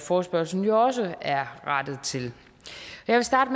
forespørgslen jo også er rettet til jeg vil starte